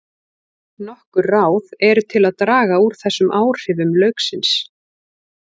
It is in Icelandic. Nokkur ráð eru til að draga úr þessum áhrifum lauksins.